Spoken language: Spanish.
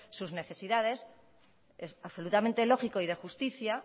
sus necesidades es absolutamente lógico y de justicia